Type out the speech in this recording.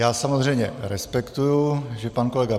Já samozřejmě respektuji, že pan kolega